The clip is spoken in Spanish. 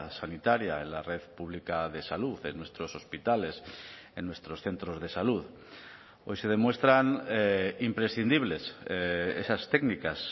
sanitaria en la red pública de salud en nuestros hospitales en nuestros centros de salud hoy se demuestran imprescindibles esas técnicas